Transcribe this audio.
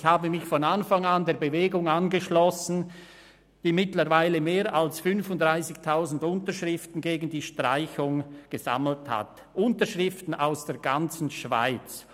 Ich habe mich von Anfang an der Bewegung angeschlossen, die mittlerweile mehr als 35 000 Unterschriften gegen diese Streichung gesammelt hat, Unterschriften aus der ganzen Schweiz.